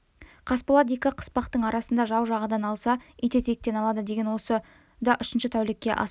қасболат екі қыспақтың арасында жау жағадан алса ит етектен алады деген осы да үшінші тәулікке асып